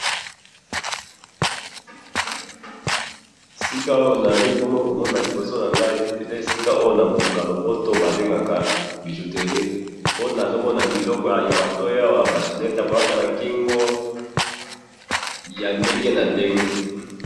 Esika Oyo naali bongo komona liboso na ngayi, eza esika Oyo na Monoko ya lopoto babengaka bijouterie, po nazomona biloko ya matoyi Awa, ba chaînettes ya kolata na kingo, ya ndenge na ndenge.